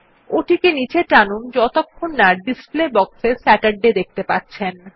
ওটিকে নীচে টানুন যতক্ষণ না পর্যন্ত ডিসপ্লে box এ স্যাচারডে দেখতে পাচ্ছেন